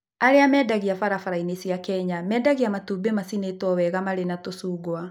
Arĩa mendagia barabara-inĩ cia Kenya mendagia matumbĩ macinĩtwo wega marĩ na tũcungwa.